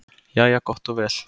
Jæja gott og vel.